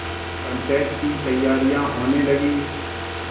पंचायत की तैयारियाँ होने लगीं